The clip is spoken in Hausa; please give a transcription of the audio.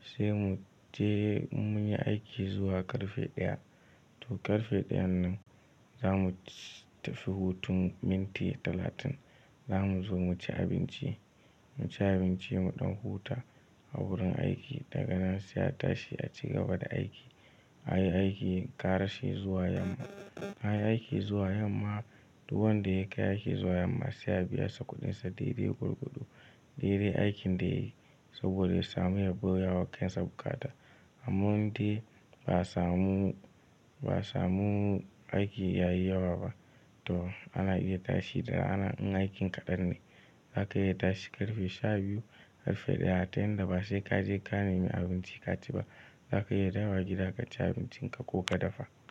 sai mu je in munyi aiki zuwa ƙarfe ɗaya. To ƙarfe ɗayan nan za mu tafi hutun minti talatin. Za mu zo mu ci abinci, mu ci abinci mu ɗan huta a wurin aiki, daga nan sai a tashi a ci gaba da aiki. Anyi aiki, ƙarashi zuwa yamma, anyi aiki zuwa yamma. Duk wanda ya kai aiki zuwa yamma sai a biya sa ƙudinsa. Dede gorgodo, dede aikin da yayi, saboda ya samu yabi yawa kansa bukata. Amman dai ba samu, ba samu aiki yayi yawa ba. To ana iya tashi da ana in aikin kaɗan ne. Za ka iya tashi ƙarfe sha biyu, ƙarfe ɗaya tayan da ba sai ka je ka nemi abinci ka ci ba. Za ka iya dawo gida ka ci abincinka ko ka dafa.